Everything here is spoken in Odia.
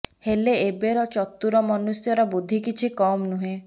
ହେଲେ ଏବର ଚତୁର ମନୁଷ୍ୟର ବୁଦ୍ଧି କିଛି କମ୍ ନୁହେଁ